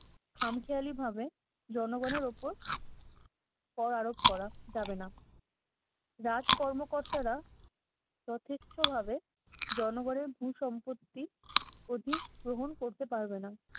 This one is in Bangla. খামখেয়ালিভাবে জনগণের উপর করা যাবে না। রাজকর্ম কর্তারা প্রতিচ্ছ্ভাবে জনগণের ভু-সম্পত্তি অধিক গ্রহণ করতে পারবে না।